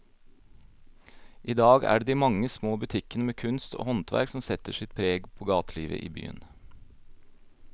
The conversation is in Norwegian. I dag er det de mange små butikkene med kunst og håndverk som setter sitt preg på gatelivet i byen.